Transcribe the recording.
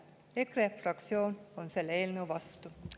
EKRE fraktsioon on selle eelnõu vastu.